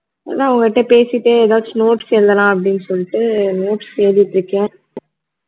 நான் உங்க கிட்ட பேசிட்டே எதாச்சும் notes எழுதலாம் அப்படின்னு சொல்லிட்டு notes எழுதிட்டு இருக்கேன்